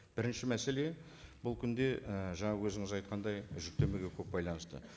бірінші мәселе бұл күнде ы жаңа өзіңіз айтқандай жүктемеге көп байланысты